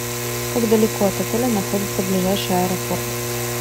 как далеко от отеля находится ближайший аэропорт